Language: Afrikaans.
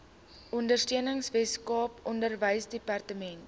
ondersteuning weskaap onderwysdepartement